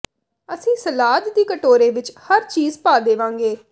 ਅਸੀਂ ਸਲਾਦ ਦੀ ਕਟੋਰੇ ਵਿਚ ਹਰ ਚੀਜ਼ ਪਾ ਦੇਵਾਂਗੇ